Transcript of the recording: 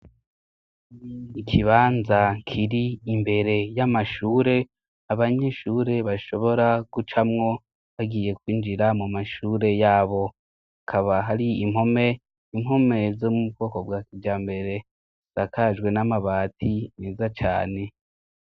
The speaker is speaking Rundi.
Ikibanza kiri imbere y'amashure abanyeshure bashobora gucamwo bagiye kwinjira mu mashure yabo akaba hari impome impome zo mu bwoko bwa kija mbere sakajwe n'amabati meza cane.